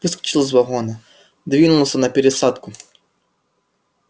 выскочил из вагона двинулся на пересадку